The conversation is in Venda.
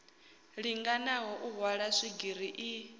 linganaho u hwala swigiri i